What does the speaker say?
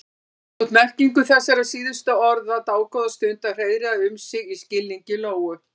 Það tók merkingu þessara síðustu orða dágóða stund að hreiðra um sig í skilningi Lóu.